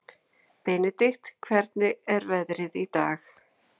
Benidikt, hvernig er veðrið í dag?